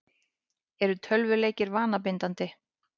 Eru tölvuleikir vanabindandi?